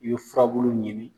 I ye furabulu ɲini .